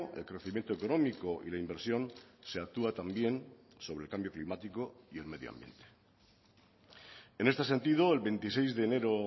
el crecimiento económico y la inversión se actúa también sobre el cambio climático y el medio ambiente en este sentido el veintiséis de enero